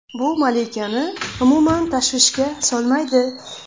Bu malikani umuman tashvishga solmaydi.